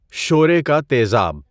شورے کا تیزاب